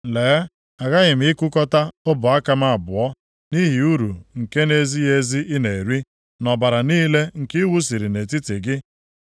“ ‘Lee, aghaghị m ịkụkọta ọbụ aka m abụọ nʼihi uru nke na-ezighị ezi ị na-eri, na ọbara niile nke ị wụsiri nʼetiti gị.